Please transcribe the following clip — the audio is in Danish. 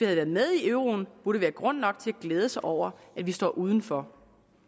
været med i euroen burde være grund nok til at glæde sig over at vi står udenfor